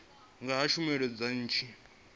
nga ha tshumelo dza nnyi